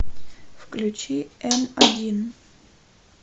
включи н один